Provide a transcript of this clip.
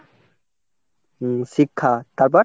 হম শিক্ষা, তারপর?